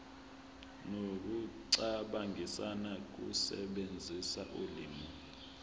nokucabangisisa ukusebenzisa ulimi